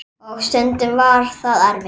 Og stundum var það erfitt.